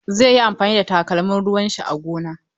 Zai yi amfani da takalmin ruwan shi a gona.